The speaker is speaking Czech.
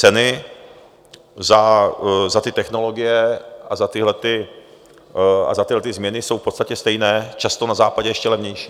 Ceny za ty technologie a za ty změny jsou v podstatě stejné, často na Západě ještě levnější.